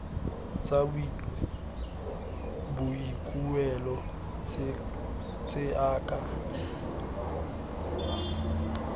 tsa boikuelo tse a ka